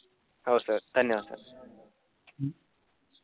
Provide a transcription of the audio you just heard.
हो सर. धन्यवाद.